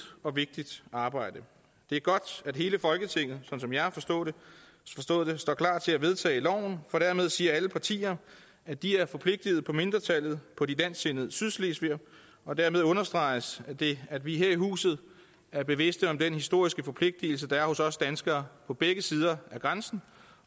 og vigtigt arbejde det er godt at hele folketinget sådan som jeg har forstået det står klar til at vedtage loven for dermed siger alle partier at de er forpligtet på mindretallet på de dansksindede sydslesvigere og dermed understreges det at vi her i huset er bevidste om den historiske forpligtelse der er hos os danskere på begge sider af grænsen